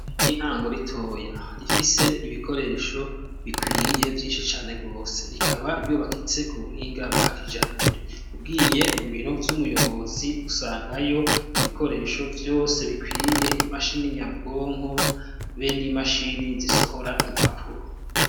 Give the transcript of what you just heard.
Intango ritoya rifise ibikoresho bikwiye vyinshi cane rwose rikaba yubakitse ku buhinga bwa kijambere ubwiye mu biro vy'umuyobozi usangayo ibikoresho vyose bikwiye imashini nyabwonko be n'imashini zisohora impapuro.